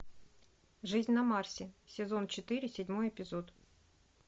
жизнь на марсе сезон четыре седьмой эпизод